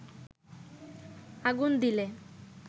আগুন দিলে